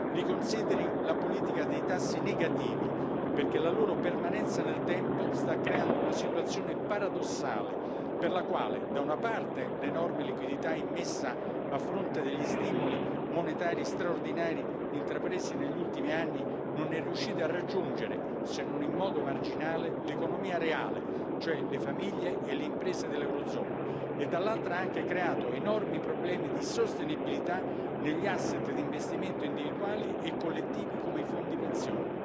riconsideri la politica dei tassi negativi, perché la loro permanenza nel tempo sta creando una situazione paradossale, per la quale, da una parte, l'enorme liquidità immessa a fronte degli stimoli monetari straordinari intrapresi negli ultimi anni non è riuscita a raggiungere, se non in modo marginale, l'economia reale, cioè le famiglie e le imprese dell'eurozona e, dall'altra, ha anche creato enormi problemi di sostenibilità negli asset di investimento individuali e collettivi, come i fondi pensione.